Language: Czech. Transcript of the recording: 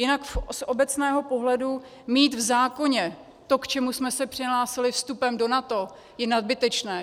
Jinak z obecného pohledu mít v zákoně to, k čemu jsme se přihlásili vstupem do NATO, je nadbytečné.